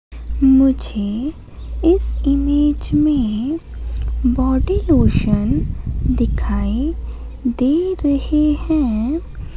मुझे इस इमेज में बॉडी लोशन दिखाई दे रहे हैं।